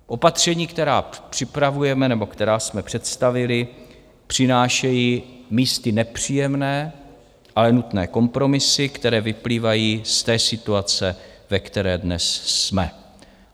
Opatření, která připravujeme nebo která jsme představili, přinášejí místy nepříjemné, ale nutné kompromisy, které vyplývají z té situace, ve které dnes jsme.